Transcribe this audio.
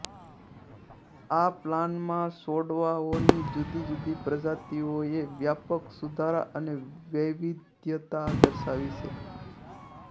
આ પ્લાનમાં છોડવાઓની જુદીજુદી પ્રજાતિઓએ વ્યાપક સુધારા અને વૈવિધ્યતા દર્શાવી છે